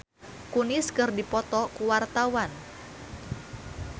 Jessica Milla jeung Mila Kunis keur dipoto ku wartawan